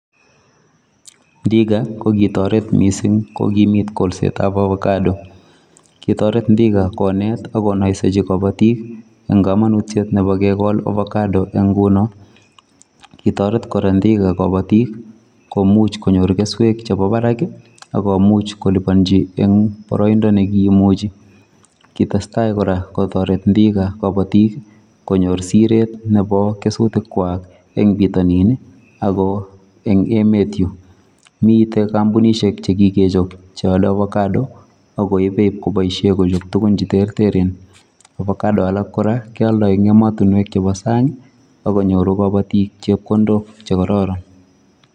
Ndiga ko kitoret mising kokimit kolsetao avocado. Kitoret Ndiga konet ak konoisechi kabotik eng kamanutiet nepo kekol ovacado eng nguno. Kitoret kora Ndiga kabotik komuch konyor keswek chemi barak ak komuch koliponchi eng boroindo nekiimuchi. Kitestai kora kotoret Ndiga kabotik konyor siret nepo kesutikwak eng pitonin ako eng emet yu. Mite kampunishek chekikechop cheale avocado akoipe ipkoboishe eng tukun cheterteren. Ovacado alak kora kealdoi eng emotunwek chepo sang akonyoru kabotik chepkindok chekororon.